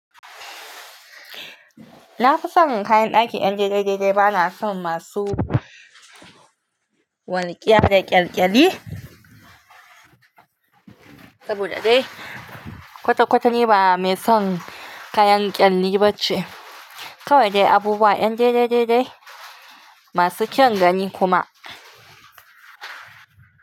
Na fi son kayan ɗakin ƴan dai-dai dai-dai bana son masu walƙiya da ƙyalƙyali. Saboda dai kwata-kwata ni ba mai son kayan ƙyalli ba ce. Kawai dai abubuwan ƴan dai-dai dai-dai masu kyaun ga ni kuma.